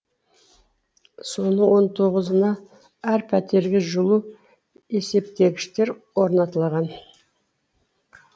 соның он тоғызына әр пәтерге жылу есептегіштер орнатылаған